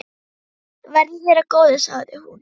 Verði þér að góðu, sagði hún.